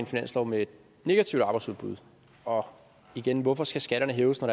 finanslov med et negativt arbejdsudbud og igen hvorfor skal skatterne hæves når